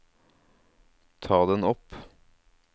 ta den opp